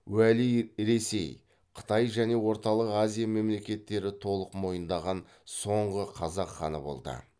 уәли ресей қытай және орталық азия мемлекеттері толық мойындаған соңғы қазақ ханы болды